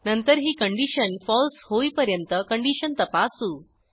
नंतर ही कंडिशन फळसे होईपर्यंत कंडिशन तपासू